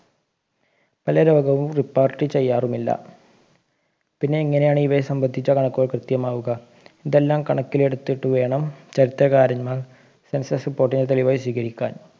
പല രോഗങ്ങളും report ചെയ്യാറുമില്ല പിന്നെ എങ്ങനെയാണ് ഇവയെ സമ്പന്ധിച്ച കണക്കുകൾ കൃത്യമാവുക ഇതെല്ലാം കണക്കിലെടുത്തിട്ട് വേണം ശക്തകാരന്മാർ census report നെ തെളിവായി സ്വീകരിക്കാൻ